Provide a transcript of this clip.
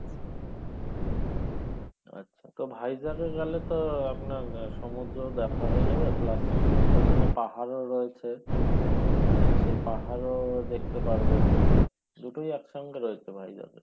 আচ্ছা তো Vizag এ গেলে তো আপনার আহ সমূদ্রও দেখা হয়ে যাবে plus ওইখানে পাহাড়ও রয়েছে আহ সেই পাহাড়ও দেখতে পারবেন দুটোই একসঙ্গে রয়েছে Vizag এ